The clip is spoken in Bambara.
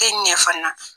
E ɲɛ fana